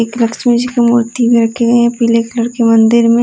एक लक्ष्मी जी की मूर्ति भी रखी हुए है पीले कलर के मंदिर में --